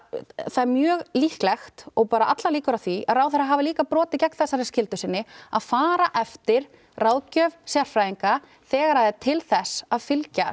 það er mjög líklegt og allar líkur á því að ráðherra hafi líka brotið gegn þessari skyldu sinni að fara eftir ráðgjöf sérfræðinga þegar það er til þess að fylgja